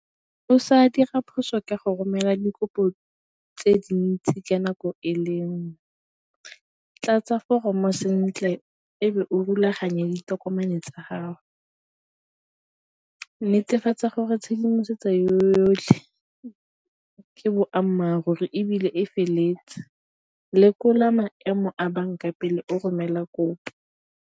O sa dira phoso ka go romela dikopo tse dintsi ka nako e le nngwe, tlatsa foromo sentle e be o rulaganye ditokomane tsa gago, netefatsa gore tshedimosetso yotlhe ke boammaaruri ebile e feleletse, lekola maemo a banka pele o romela kopo.